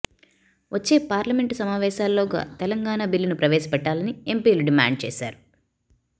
వచ్చే పార్లమెంటు సమావేశాల్లోగా తెలంగాణ బిల్లును ప్రవేశపెట్టాలని ఎంపీలు డిమాండ్ చేశారు